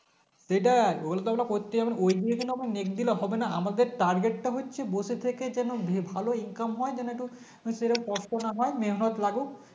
সেটাই ওই গুলোতো আমরা করতেই হবে ওইদিনের জন্য আমরা মেঘ দিলে হবে না আমাদের Target তা হচ্ছে বসে থেকে যেন ভালো income হয় যেন একটু সেরকম কষ্ট না হয় মেহনত লাগুক